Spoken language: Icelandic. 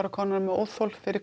komnar með óþol fyrir